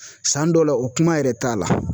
San dɔw la o kuma yɛrɛ t'a la.